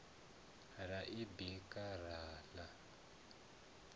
ra i bika ra ḽa